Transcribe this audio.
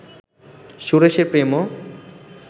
সুরেশের প্রেমও